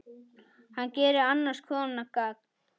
Hann gerir annars konar gagn.